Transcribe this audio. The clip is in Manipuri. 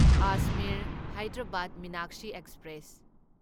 ꯑꯖꯃꯤꯔ ꯍꯥꯢꯗꯔꯥꯕꯥꯗ ꯃꯤꯅꯥꯛꯁꯤ ꯑꯦꯛꯁꯄ꯭ꯔꯦꯁ